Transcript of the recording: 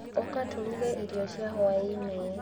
Ũka tũruge irio cia hwaĩ-inĩ.